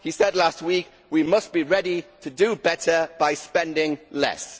He said last week that we must be ready to do better by spending less'.